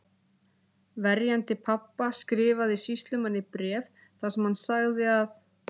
Verjandi pabba skrifaði sýslumanni bréf þar sem hann sagði að